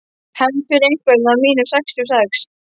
Hefnd fyrir einhvern af mínum sextíu og sex.